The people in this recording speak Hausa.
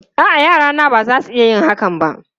A'a, yarana ba za su iya yin hakan ba.